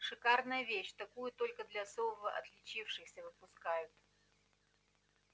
шикарная вещь такую только для особо отличившихся выпускают